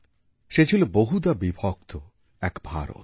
সে ছিল বহুধা বিভক্ত এক ভারত